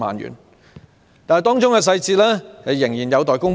然而，當中細節仍有待公布。